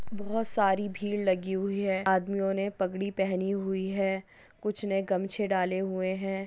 बहुत सारी भीड लगी हुई है आदमी ओने पगड़ी पहनी हुई है कुछ ने गमछे डाले हुए है।